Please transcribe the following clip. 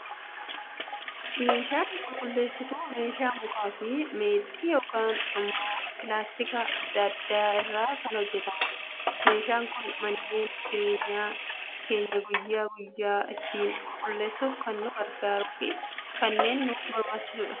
Meeshaan qulqulleesituu, meeshaa muka fi meexxii yookaan immoo pilaastikoota addaa addaa irraa kan hojjetamudha. Meeshaan Kun manneen jireenyaa keenya guyyaa guyyaa ittiin qulqulleessuuf kan nu gargaaruu fi kanneen nu barbaachisanidha.